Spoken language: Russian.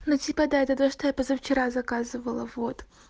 ну типа да это то что я позавчера заказывала вот